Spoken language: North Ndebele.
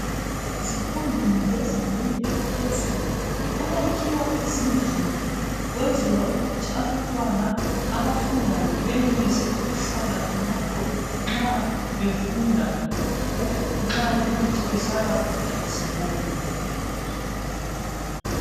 Ezifundweni zezingeni eliphezulu kuyakhiwa izindlu kwenzelwa ukuthi abantwana abafundayo benelise ukuhlala khonapho nxa befunda nxa kuyikuthi bahlala kude lesikolo.